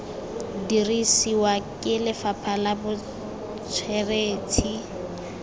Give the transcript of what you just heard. dirisiwa ke lefapha la botsweretshi